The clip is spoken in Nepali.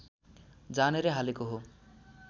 जानेरै हालेको हो